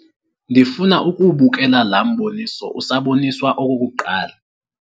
Ndifuna ukuwubukela la mboniso usaboniswa okokuqala.